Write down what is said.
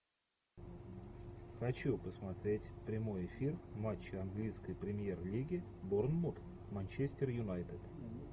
хочу посмотреть прямой эфир матча английской премьер лиги борнмут манчестер юнайтед